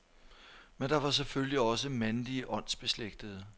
Men der var selvfølgelig også mandlige åndsbeslægtede.